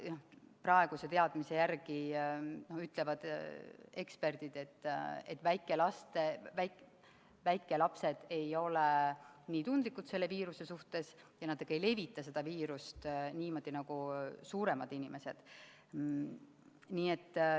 Praeguse teadmise järgi ütlevad eksperdid, et väikelapsed ei ole selle viiruse suhtes nii tundlikud ja nad ei levita seda niimoodi nagu suuremad inimesed.